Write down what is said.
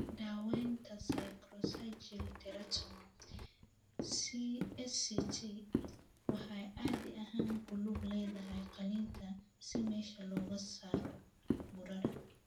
Daawaynta sacrococcygeal teratoma (SCT) waxay caadi ahaan ku lug leedahay qalitaan si meesha looga saaro burada.